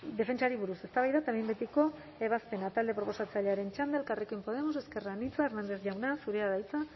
defentsari buruz eztabaida eta behin betiko ebazpena talde proposatzailearen txanda elkarrekin podemos ezker anitza hernández jauna zurea da hitza